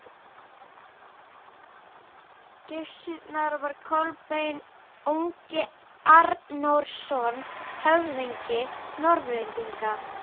Gissurar var Kolbeinn ungi Arnórsson, höfðingi Norðlendinga.